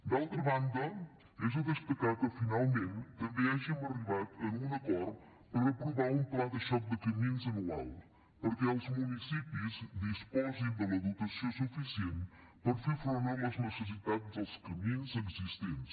d’altra banda és de destacar que finalment també hàgim arribat a un acord per aprovar un pla de xoc de camins anual perquè els municipis disposin de la dotació suficient per fer front a les necessitats dels camins existents